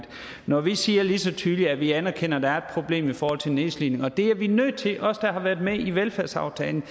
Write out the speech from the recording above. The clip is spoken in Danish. når vi siger lige så tydeligt at vi anerkender at der er et problem i forhold til nedslidning og det er vi nødt til os der har været med i velfærdsaftalen